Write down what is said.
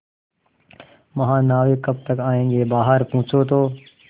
महानाविक कब तक आयेंगे बाहर पूछो तो